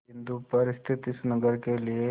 बिंदु पर स्थित इस नगर के लिए